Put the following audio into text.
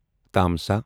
تمسا